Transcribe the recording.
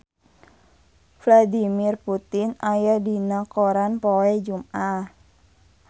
Vladimir Putin aya dina koran poe Jumaah